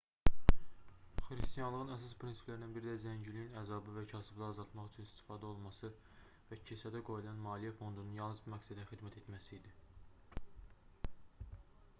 xristianlığın əsas prinsiplərindən biri də zənginliyin əzabı və kasıblığı azaltmaq üçün istifadə olunması və kilsədə qoyulan maliyyə fondunun yalnız bu məqsədə xidmət etməsi idi